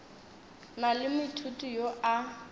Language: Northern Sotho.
na le moithuti yo a